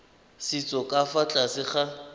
setso ka fa tlase ga